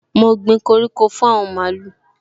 Mo gbin koko fún àwọn màlúù